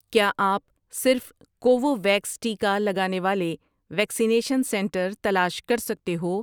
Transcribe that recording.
کیا آپ صرف کوووویکس ٹیکا لگانے والے ویکسینیشن سنٹر تلاش کر سکتے ہو؟